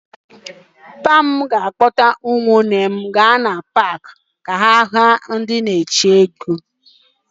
Nna m ga-akpọrọ ụmụnne m ndị nwoke gaa na paakị ka ha hụ onye na-eti egwú.